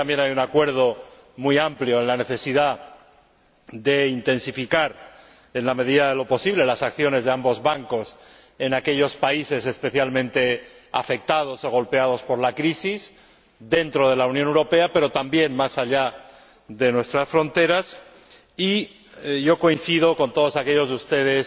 Creo que también hay un acuerdo muy amplio en cuanto a la necesidad de intensificar, en la medida de lo posible, las acciones de ambos bancos en aquellos países especialmente afectados o golpeados por la crisis, dentro de la Unión Europea, pero también más allá de nuestras fronteras, y coincido con todos aquellos de ustedes